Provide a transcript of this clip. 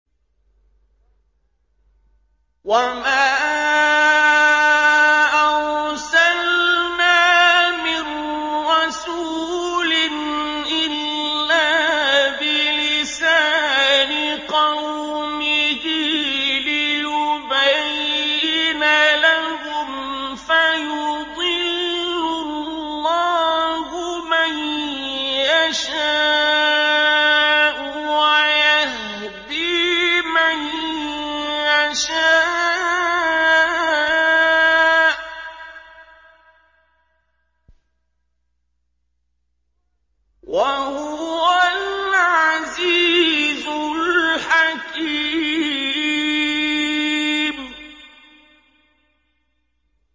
وَمَا أَرْسَلْنَا مِن رَّسُولٍ إِلَّا بِلِسَانِ قَوْمِهِ لِيُبَيِّنَ لَهُمْ ۖ فَيُضِلُّ اللَّهُ مَن يَشَاءُ وَيَهْدِي مَن يَشَاءُ ۚ وَهُوَ الْعَزِيزُ الْحَكِيمُ